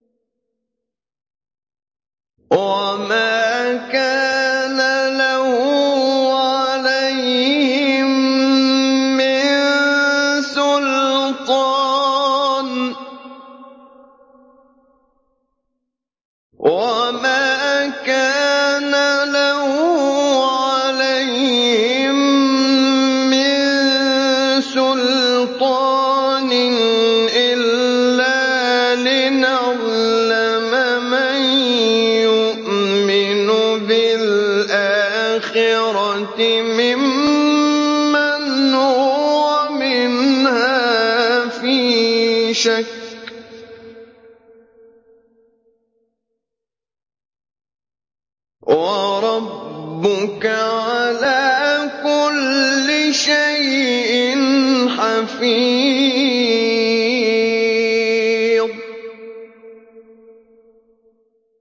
وَمَا كَانَ لَهُ عَلَيْهِم مِّن سُلْطَانٍ إِلَّا لِنَعْلَمَ مَن يُؤْمِنُ بِالْآخِرَةِ مِمَّنْ هُوَ مِنْهَا فِي شَكٍّ ۗ وَرَبُّكَ عَلَىٰ كُلِّ شَيْءٍ حَفِيظٌ